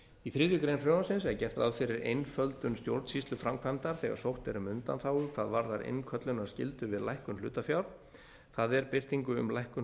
í þriðju greinar frumvarpsins er gert ráð fyrir einföldun stjórnsýsluframkvæmdar þegar sótt er um undanþágur hvað varðar innköllunarskyldu til lækkun hlutafjár það er birtingu um lækkun